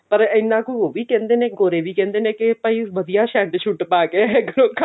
ਪਰ ਇੰਨਾ ਕੁ ਉਹ ਵੀ ਕਹਿੰਦੇ ਨੇ ਗੋਰੇ ਵੀ ਕਹਿੰਦੇ ਨੇ ਕੀ ਭਾਈ ਵਧੀਆ shirt shut ਘਰੋ ਕੰਮ